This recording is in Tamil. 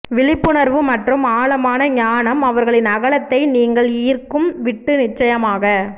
விழிப்புணர்வு மற்றும் ஆழமான ஞானம் அவர்களின் அகலத்தை நீங்கள் ஈர்க்கும் விட்டு நிச்சயமாக